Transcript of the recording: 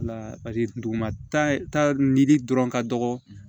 La duguma ta ni dɔrɔn ka dɔgɔ